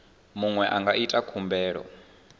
muṅwe a nga ita khumbelo